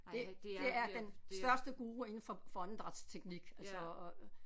Det det er den største guru inden for for åndedrætsteknik altså og